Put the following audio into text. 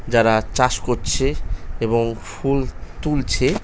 যারা চাষ করছে এবং ফুল তুলছে --